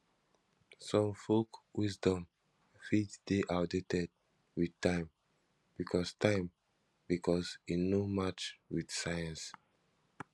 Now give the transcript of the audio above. some folk wisdom fit de outdated with time because time because e no match with science